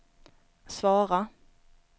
svara